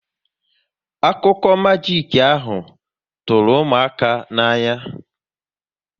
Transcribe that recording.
Akụkụ majik ahụ tụrụ ụmụaka n'anya